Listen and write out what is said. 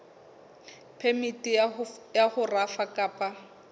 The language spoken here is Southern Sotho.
phemiti ya ho rafa kapa